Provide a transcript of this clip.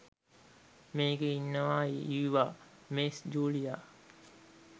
මේකේ ඉන්නවා ඊවා මෙස් ජුලියා